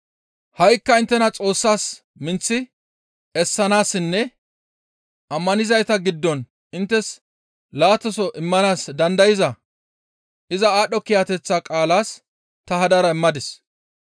«Ha7ikka inttena Xoossas minththi essanaassinne ammanizayta giddon inttes laataso immanaas dandayza iza aadho kiyateththa qaalaas ta hadara immadis.